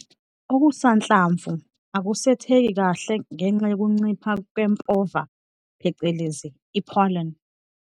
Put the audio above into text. Okusanhlamvu akusetheki khale ngenxa yokuncipha kwempova phecelezi i-pollen.